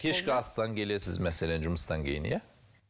кешкі астан келесіз мәселен жұмыстан кейін иә